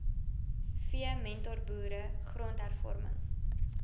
v mentorboere grondhervorming